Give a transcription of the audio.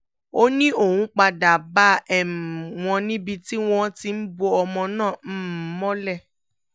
ó ní òun padà bá um wọn níbi tí wọ́n ti ń bo ọmọ náà um mọ́lẹ̀